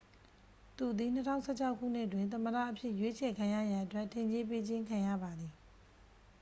သူသည် 2016 ခုနှစ်တွင် သမ္မတအဖြစ် ရွေးချယ်ခံရရန် အတွက် ထင်ကြေးပေးခြင်း ခံရပါသည်